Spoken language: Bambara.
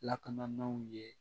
Lakanaw ye